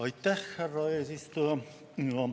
Aitäh, härra eesistuja!